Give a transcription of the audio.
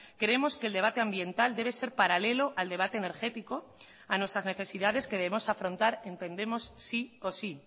creemos que el debate ambiental debe ser paralelo al debate energético a nuestras necesidades que debemos afrontar entendemos sí o sí